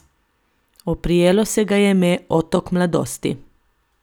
Oprijelo se ga je ime Otok mladosti.